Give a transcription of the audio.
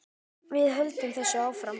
Við höldum þessu áfram